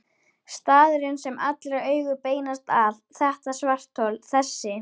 Staðurinn sem allra augu beinast að, þetta svarthol, þessi